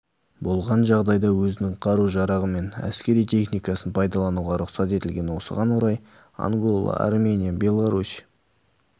болған жағдайда өзінің қару-жарағы мен әскери техникасын пайдалануға рұқсат етілген осыған орай ангола армения беларусь